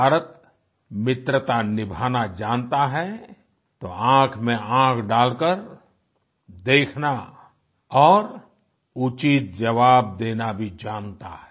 भारत मित्रता निभाना जानता है तो आँखमेंआँख डालकर देखना और उचित जवाब देना भी जानता है